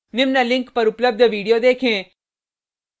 निम्न link पर उपलब्ध video देखें